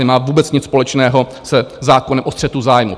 Nemá vůbec nic společného se zákonem o střetu zájmů.